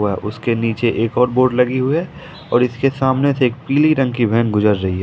व उसके नीचे एक और बोर्ड लगी हुई है और इसके सामने से एक पीली रंग की वैन गुजर रही है।